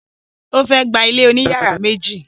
O fẹ gbà ilé oní yàrá méjì.